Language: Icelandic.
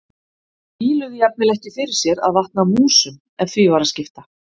Víluðu jafnvel ekki fyrir sér að vatna músum ef því var að skipta.